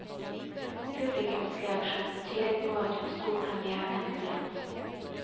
Publikumsreaksjonen tydet på at hun sto premièren med glans.